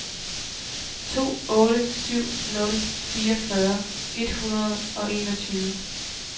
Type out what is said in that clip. to otte syv nul fireogfyrre et hundrede og enogtyve